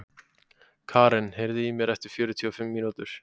Karen, heyrðu í mér eftir fjörutíu og fimm mínútur.